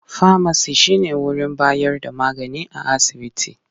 Famaci shi ne wurin bayar da magani a asibiti.